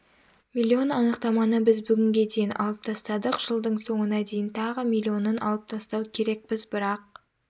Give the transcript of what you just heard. миллион анықтаманы біз бүгінге дейін алып тастадық жылдың соңына дейін тағы миллионын алып тастау керекпіз бірақ